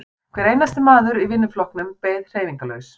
Hver einasti maður í vinnuflokknum beið hreyfingarlaus.